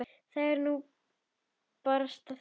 Það er nú barasta það.